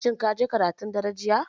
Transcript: Shin kaje karatun dare jiya?